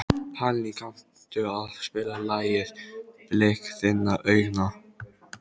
Hallný, kanntu að spila lagið „Blik þinna augna“?